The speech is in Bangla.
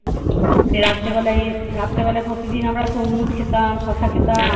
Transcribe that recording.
রাত্রে বেলায় এই রাত্রে বেলায় প্রতিদিন আমরা তরমুজ খেতাম শসা খেতাম